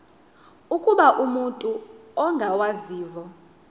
ukuba umut ongawazivo